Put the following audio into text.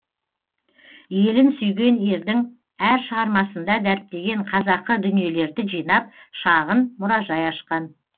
елін сүйген ердің әр шығармасында дәріптеген қазақы дүниелерді жинап шағын мұражай ашқан